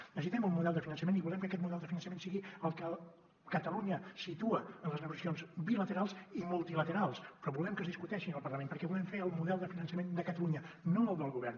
necessitem un model de finançament i volem que aquest model de finançament sigui el que ca·talunya situa en les negociacions bilaterals i multilaterals però volem que es discu·teixi en el parlament perquè volem fer el model de finançament de catalunya no el del govern